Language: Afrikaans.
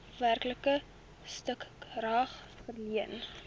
werklike stukrag verleen